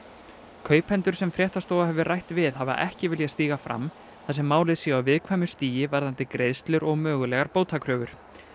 kaupendur sem fréttastofa hefur rætt við hafa ekki viljað stíga fram þar sem málið sé á viðkvæmu stigi varðandi greiðslur og mögulegar bótakröfur